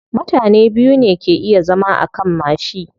Mutane biyu ne ke iya zama akan mashi.